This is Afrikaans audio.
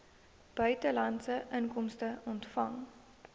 buitelandse inkomste ontvang